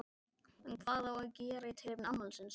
En hvað á að gera í tilefni afmælisins?